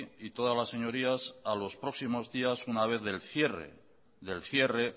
y todas las señorías a los próximos días una vez del cierre del cierre